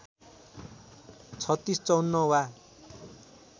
३६ ५४ वा